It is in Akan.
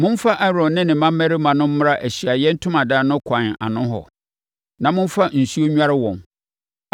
Momfa Aaron ne ne mmammarima no mmra Ahyiaeɛ Ntomadan no kwan ano hɔ, na momfa nsuo nnware wɔn.